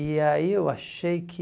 E aí eu achei que...